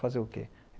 Fazer o quê?